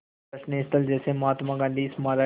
दर्शनीय स्थल जैसे महात्मा गांधी स्मारक